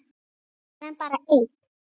Fer hann bara einn?